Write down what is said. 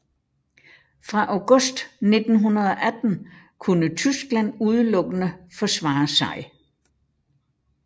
Fra august 1918 kunne Tyskland udelukkende forsvare sig